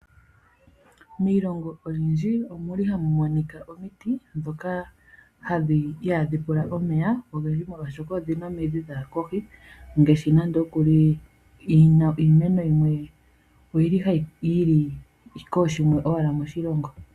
Miilongo oyindji omu li hamu monika omiti ndhoka ihaadhi pula omeya ogendji, molwashoka odhi na omidhi dha ya kohi. Iimeno yimwe oyi li owala kooshimwe moshilongo.